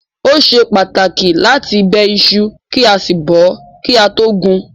Ó ṣe pàtàkì láti bẹ iṣu kí a sì bọ̀ ọ́ kí a tó gún un.